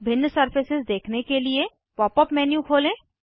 भिन्न सरफेसेस देखने के लिए पॉप अप मेन्यू खोलें